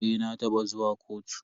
Eh, na taba zuwa kotu.